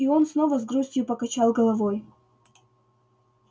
и он снова с грустью покачал головой